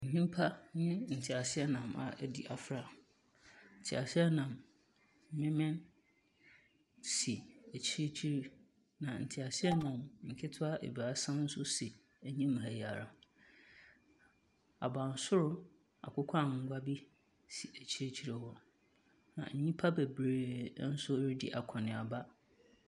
Nnipa ne teaseɛnam a edi afra. Teaseɛnam no si akyirikyiri. Na teaseɛnam nketewa nso si anim ha ara. Abansoro akokɔ angoa bi si akyire hɔ. Na nnipa bebree ɛnso redi akɔneaba.